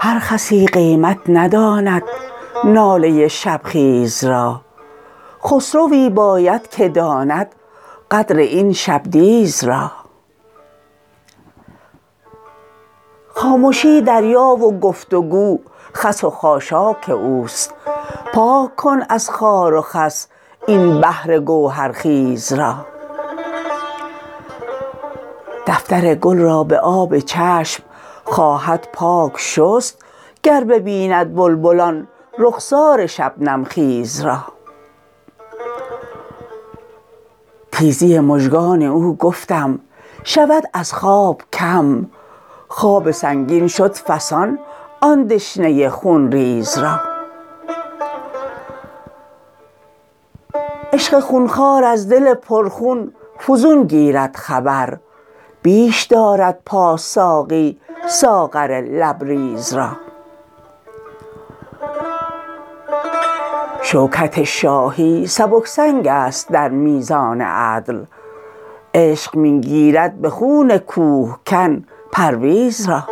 هر خسی قیمت نداند ناله شبخیز را خسروی باید که داند قدر این شبدیز را خامشی دریا و گفت و گو خس و خاشاک اوست پاک کن از خار و خس این بحر گوهرخیز را دفتر گل را به آب چشم خواهد پاک شست گر ببیند بلبل آن رخسار شبنم خیز را تیزی مژگان او گفتم شود از خواب کم خواب سنگین شد فسان آن دشنه خونریز را عشق خونخوار از دل پرخون فزون گیرد خبر بیش دارد پاس ساقی ساغر لبریز را شوکت شاهی سبک سنگ است در میزان عدل عشق می گیرد به خون کوهکن پرویز را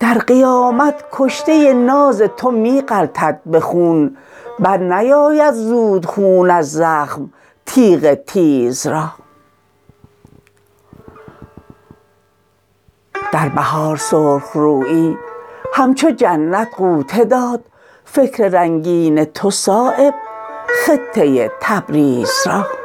در قیامت کشته ناز تو می غلطد به خون برنیاید زود خون از زخم تیغ تیز را در بهار سرخ رویی همچو جنت غوطه داد فکر رنگین تو صایب خطه تبریز را